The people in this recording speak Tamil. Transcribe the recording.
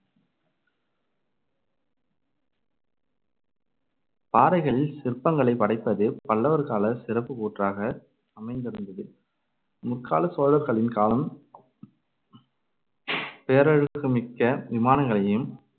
பாறைகளில் சிற்பங்களைப் படைப்பது பல்லவர்கால சிறப்புக்கூற்றாக அமைந்திருந்தது. முற்காலச் சோழர்களின் காலம் பேரழகுமிக்க விமானங்களையும்